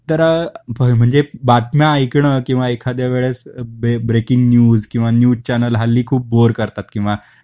तर अ म्हणजे बातम्या ऐकण किंवा एखाद्या वेळेस ब्रेकिंग न्यूज किंवा न्यूज चॅनल हल्ली खूप बोर करतात, किंवा